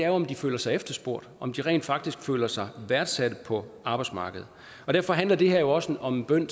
om de føler sig efterspurgte om de rent faktisk føler sig værdsat på arbejdsmarkedet og derfor handler det her jo også om en bøn